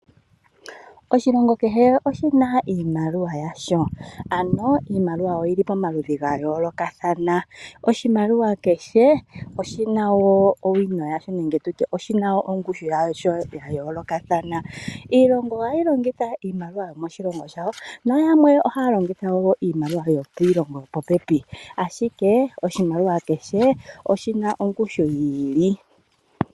Oshilongo kehe oshina iimaliwa yasho, ano iimaliwa oyili pomaludhi gayoolokathana. Oshimaliwa kehe oshina ongushu yasho yayoolokathana. Iilongo ohayi longitha iimaliwa yomoshilongo shayo. Noyamwe ohaya longitha iimaliwa yopiilongo yopopepi. Nonando ongawo, oshimaliwa kehe oshina ongushu yiilile.